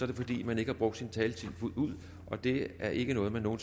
det fordi man ikke har brugt sin taletid fuldt ud og det er ikke noget man nogen